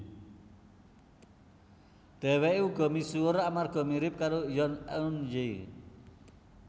Dheweke uga misuwur amarga mirip karo Yoon Eun Hye